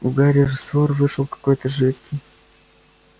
у гарри раствор вышел какой-то жидкий